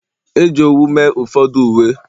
e ji owu mee ụfọdụ uwe